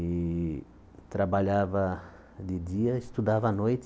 E trabalhava de dia, estudava à noite.